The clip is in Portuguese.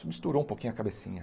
um pouquinho a cabecinha.